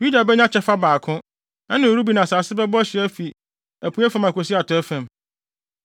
Yuda benya kyɛfa baako; ɛne Ruben asase bɛbɔ hye afi apuei fam akosi atɔe fam.